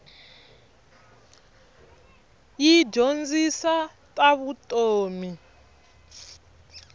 yi dyondzisa ta vutomi